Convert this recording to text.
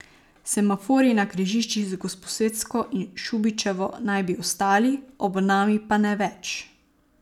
Semaforji na križiščih z Gosposvetsko in Šubičevo naj bi ostali, ob Nami pa ne več.